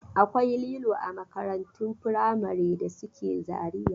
Akwai lilo a makarantun firamare da suke Zariya.